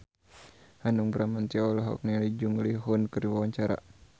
Hanung Bramantyo olohok ningali Jung Ji Hoon keur diwawancara